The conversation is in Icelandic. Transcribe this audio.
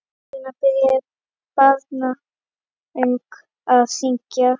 Helena byrjaði barnung að syngja.